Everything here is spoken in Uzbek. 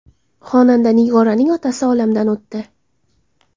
Xonanda Nigoraning otasi olamdan o‘tdi.